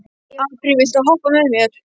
Apríl, viltu hoppa með mér?